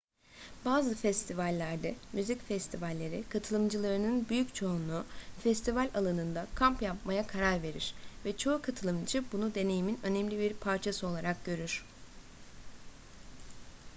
bazı festivallerde müzik festivalleri katılımcılarının büyük çoğunluğu festival alanında kamp yapmaya karar verir ve çoğu katılımcı bunu deneyimin önemli bir parçası olarak görür